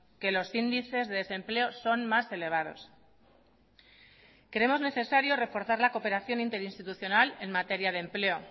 que los índices de desempleo son más elevados creemos necesario reforzar la cooperación interinstitucional en materia de empleo